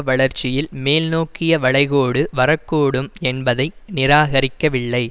வளர்ச்சியில் மேல்நோக்கிய வளைகோடு வரக்கூடும் என்பதை நிராகரிக்கிவில்லை